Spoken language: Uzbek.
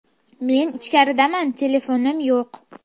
Men ichkaridaman, telefonim yo‘q.